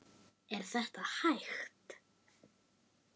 Er þetta hægt?